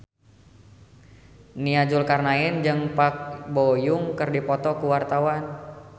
Nia Zulkarnaen jeung Park Bo Yung keur dipoto ku wartawan